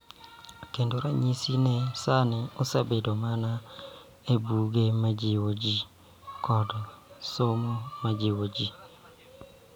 Kendo, ranyisi ni sani osebedo mana e buge ma jiwo ji kod somo ma jiwo ji.